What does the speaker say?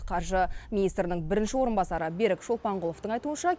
қаржы министрінің бірінші орынбасары берік шолпанқұловтың айтуынша